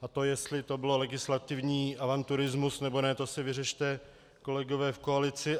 A to, jestli to byl legislativní avanturismus, nebo ne, to si vyřešte, kolegové, v koalici.